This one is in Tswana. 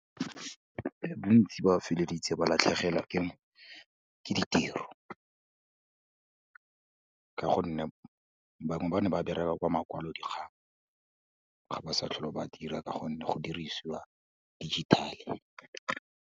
Bontsi ba feleleditse ba latlhegelwa ke ditiro ka gonne bangwe ba ne ba bereka kwa makwalodikgang, ga ba sa tlhole ba dira ka gonne go dirisiwa digital-e.